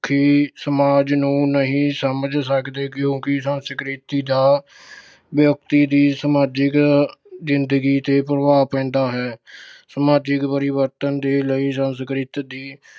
ਕਿ ਸਮਾਜ ਨੂੰ ਨਹੀਂ ਸਮਝ ਸਕਦੇ ਕਿਉਂਕਿ ਸੰਸਕ੍ਰਿਤੀ ਜਾਂ ਵਿਅਕਤੀ ਦੀ ਸਮਾਜਿਕ ਜਿੰਦਗੀ ਤੇ ਪ੍ਰਭਾਵ ਪੈਂਦਾ ਹੈ। ਸਮਾਜਿਕ ਪਰਿਵਰਤਨ ਦੇ ਲਈ ਸੰਸਕ੍ਰਿਤ ਦੀ